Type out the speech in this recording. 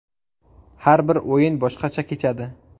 Har bir o‘yin boshqacha kechadi.